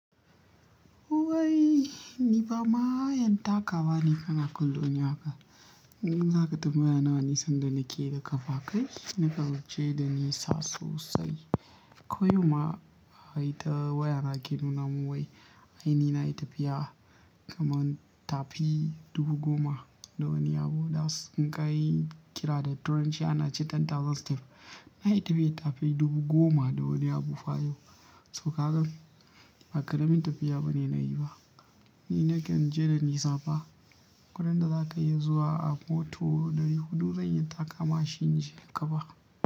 Wai ni fa ma yen taka wa ne kana kallon ni ha ka. In za ka tambaya nawa nisan da na ke da kafa kai, na kan je da nisa sosai. Koyau ma ai ta waya na ke nuna mun wai ainihi na yi tafiya kamar tafi 10,000. Da wani abu das in ka yi kira da turanchi ana ce ten 10,000 steps. Na yi tafiya tafi 10,000 fa yau. So ka gan, ba karamin tafiya ba ne na yi ba. Ni na kan je da nisa fa. Gurin da za ka iya zuwa a mota ɗari huɗu zan iya taka ma shi inje a ka fa.